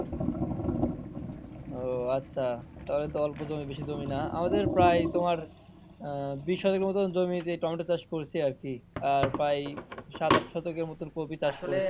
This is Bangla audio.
ও আচ্ছা তাহলে তো অল্প জমি বেশি জমি না আমাদের প্রায় তোমার আহ বিশ কয়েক মতো জমিতে টমেটো চাষ করছি আরকি আর প্রায় সাত আট শতকের মতো কফি চাষ করছি।